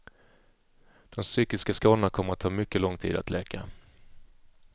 De psykiska skadorna kommer att ta mycket lång tid att läka.